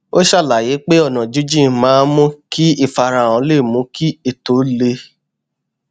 ó ṣàlàyé pé ọnà jínjìn maá n mú kí ìfarahàn le mú kí ètò le